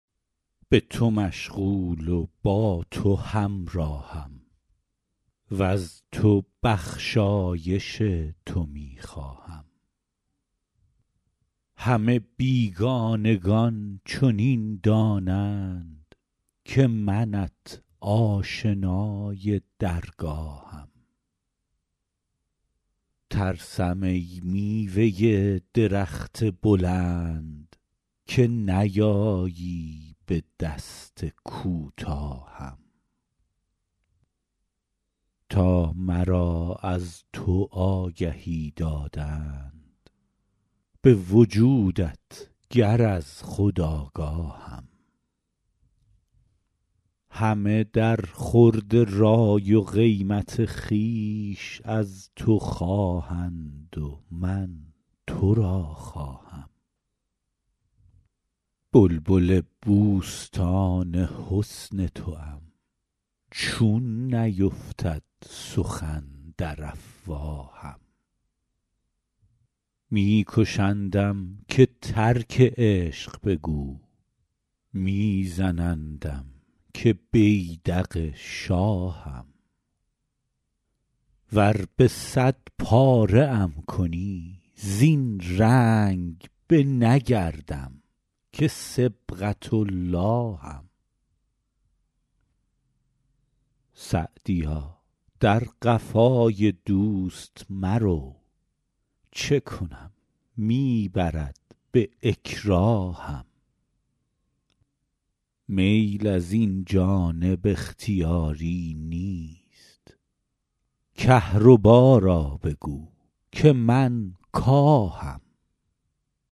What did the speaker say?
به تو مشغول و با تو همراهم وز تو بخشایش تو می خواهم همه بیگانگان چنین دانند که منت آشنای درگاهم ترسم ای میوه درخت بلند که نیایی به دست کوتاهم تا مرا از تو آگهی دادند به وجودت گر از خود آگاهم همه در خورد رای و قیمت خویش از تو خواهند و من تو را خواهم بلبل بوستان حسن توام چون نیفتد سخن در افواهم می کشندم که ترک عشق بگو می زنندم که بیدق شاهم ور به صد پاره ام کنی زین رنگ نه بگردم که صبغة اللهم سعدیا در قفای دوست مرو چه کنم می برد به اکراهم میل از این جانب اختیاری نیست کهربا را بگو که من کاهم